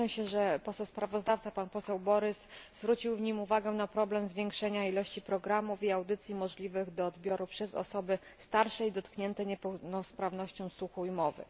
Cieszę się, że sprawozdawca, poseł Borys, zwrócił w nim uwagę na problem zwiększenia liczby programów i audycji możliwych do odbioru przez osoby starsze i dotknięte niepełnosprawnością słuchu i mowy.